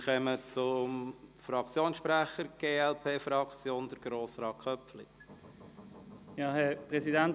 Wir kommen zu den Fraktionssprechern – für die glp: Grossrat Köpfli.